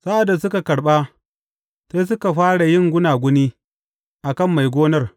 Sa’ad da suka karɓa, sai suka fara yin gunaguni a kan mai gonar.